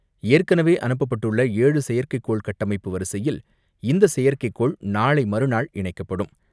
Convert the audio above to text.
ஏற்கனவே அனுப்பப்பட்டுள்ள ஏழு செயற்கைக்கோள் கட்டமைப்பு வரிசையில் இந்த செயற்கைக்கோள் நாளை மறுநாள் இணைக்கப்படும்.